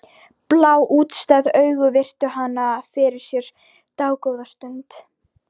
Blá, útstæð augun virtu hana fyrir sér dágóða stund.